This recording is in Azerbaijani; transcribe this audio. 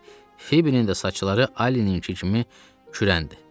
Fibinin də saçları Allininkı kimi kürəndir.